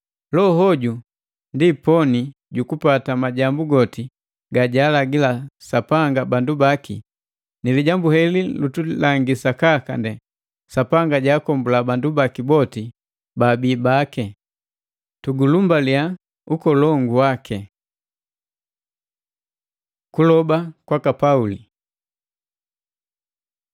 Loho hoju ndi poni jukupata majambu goti gajaalagi Sapanga bandu baki, ni lijambu heli lutulangi sakaka nde Sapanga jaakombula bandu baki boti baabii baki. Tugulumbaliya ukolongu waki! Kuloba kwaka Pauli